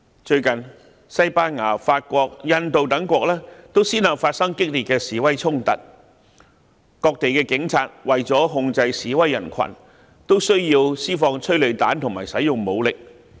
最近，西班牙、法國、印度等國都先後發生激烈的示威衝突，各地的警察為了控制示威人群，都需要施放催淚彈及使用武力。